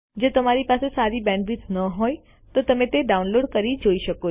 જો તમારી પાસે સારી બેન્ડવિડ્થ ન હોય તો તમે ડાઉનલોડ કરી તે જોઈ શકો છો